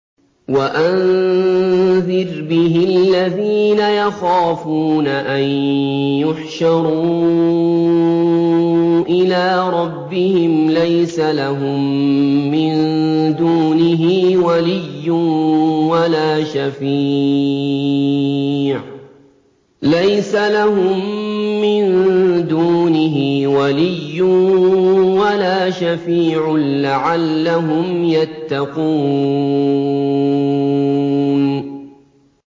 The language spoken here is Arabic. وَأَنذِرْ بِهِ الَّذِينَ يَخَافُونَ أَن يُحْشَرُوا إِلَىٰ رَبِّهِمْ ۙ لَيْسَ لَهُم مِّن دُونِهِ وَلِيٌّ وَلَا شَفِيعٌ لَّعَلَّهُمْ يَتَّقُونَ